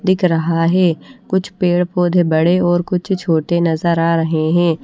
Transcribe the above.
दिख रहा है कुछ पेड़ पौधे बड़े और कुछ छोटे नज़र आ रहे है।